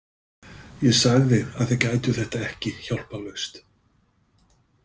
Ég sagði að þið gætuð þetta ekki hjálparlaust.